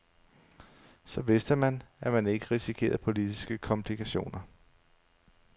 Så vidste man, at man ikke risikerede politiske komplikationer.